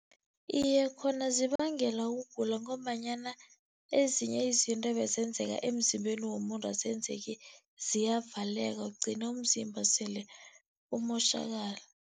Iye, khona zibangela ukugula ngombanyana ezinye izinto ebezenzeka emzimbeni womuntu azenzeki ziyavaleka, ugcina umzimba sele umotjhakala.